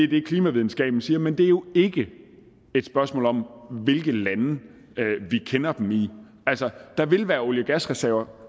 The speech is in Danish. det klimavidenskaben siger men det er jo ikke et spørgsmål om hvilke lande vi kender dem i altså der vil være olie og gasreserver